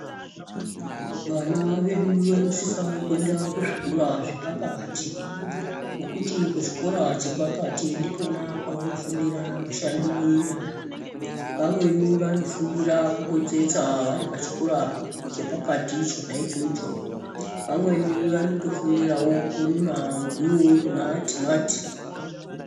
Vana vedu vanosisa kuenda kuzvikora zvepakati ngokuti kuchikora chepakati ndikona kwanofundira mishando yenyara, vamweni vanofundira kutotsetsa vari pachikora chepakati cho vamweni vanofundirawo kurima muriwo nematimati.